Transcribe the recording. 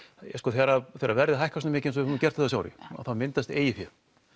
ja sko þegar verðið hækkar svona mikið eins og hefur gert á þessu ári þá myndast eigið fé